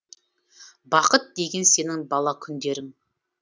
бақыт деген сенің бала күндерің